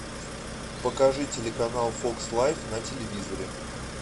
покажи телеканал фокс лайф на телевизоре